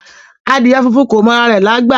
Adìẹ funfun kò mọ ara rẹ̀lágbà